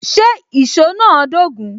Ṣé èsó náà dogun?